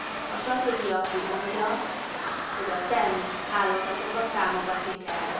A stratégia kimondja, hogy a TEN hálózatokat támogatni kell.